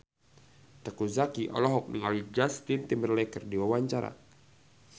Teuku Zacky olohok ningali Justin Timberlake keur diwawancara